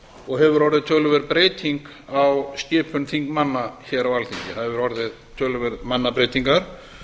og hefur orðið töluverð breyting á skipun þingmanna hér á alþingi það hafa orðið töluverðar mannabreytingar